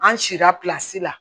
An si sera la